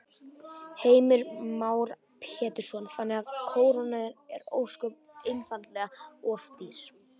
Heimir Már Pétursson: Þannig að krónan er ósköp einfaldlega of dýr?